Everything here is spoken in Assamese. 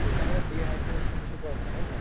তেতিয়াহʼলে dehydration যিটো কয় মানে হয় নে নহয়